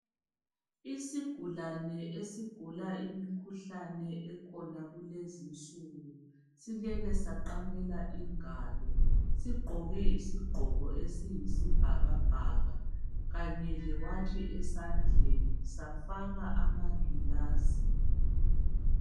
Isigulane esigula imikhuhlane ekhona kulezi insuku silele saqamela ingalo. Sigqoke isigqoko esiyisibhakabhaka kanye lewatshi esandleni safaka amangilazi.